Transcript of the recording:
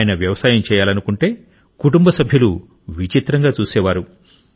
ఆయన వ్యవసాయం చేయాలనుకుంటే కుటుంబ సభ్యులు విచిత్రంగా చూసేవారు